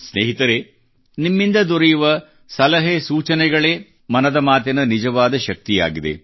ಸ್ನೇಹಿತರೇ ನಿಮ್ಮಿಂದ ದೊರೆಯುವ ಸಲಹೆ ಸೂಚನೆಗಳೇ ಮನದ ಮಾತಿನ ನಿಜವಾದ ಶಕ್ತಿಯಾಗಿದೆ